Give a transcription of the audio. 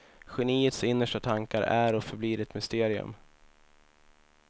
Geniets innersta tankar är och förblir ett mysterium.